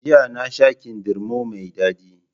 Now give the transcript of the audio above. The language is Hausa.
Jiya nasha kindirmo mai Dadi